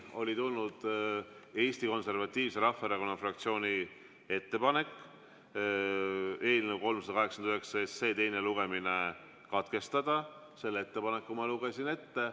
Oli tulnud Eesti Konservatiivse Rahvaerakonna fraktsiooni ettepanek eelnõu 389 teine lugemine katkestada, selle ettepaneku ma lugesin ette.